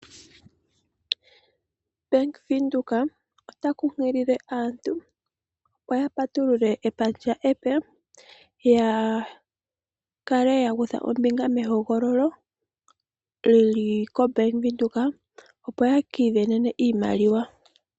Bank Windhoek ota kunkilile aantu opo ya patulule epandja epe ya kale ya kutha ombinga mehogololo li li koBank Windhoek, opo ya ka isindanene iimaliwa.